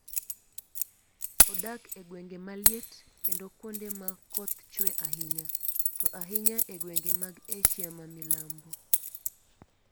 Odak e gwenge maliet, kendo kuonde ma koth chue ahinya, to ahinya e gwenge mag Asia ma Milambo.